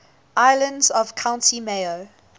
islands of county mayo